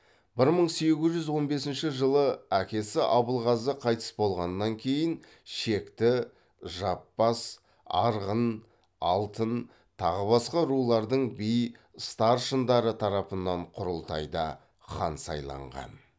бір мың сегіз жүз он бесінші жылы әкесі абылғазы қайтыс болғаннан кейін шекті жаппас арғын алтын тағы басқа рулардың би старшындары тарапынан құрылтайда хан сайланған